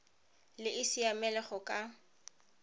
le e siamele go ka